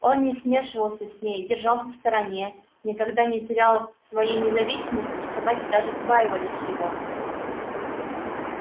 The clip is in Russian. он не смешивался с ней держался в стороне никогда не терял своей независимости и собаки даже побаивались его